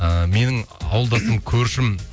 ыыы менің ауылдасым көршім